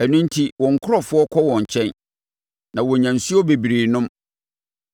Ɛno enti wɔn nkurɔfoɔ kɔ wɔn nkyɛn na wonya nsuo bebree nom.